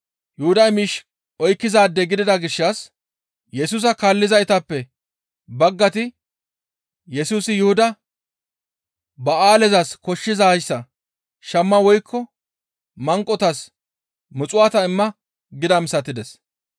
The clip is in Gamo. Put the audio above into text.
Yuhuday miish oykkizaade gidida gishshas Yesusa kaallizaytappe baggayti Yesusi Yuhuda, «Ba7aalezas koshshizayssa shamma woykko manqotas muxuwaata imma» gidaa misatides.